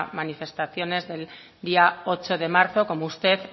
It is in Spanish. manifestaciones del día ocho de marzo como usted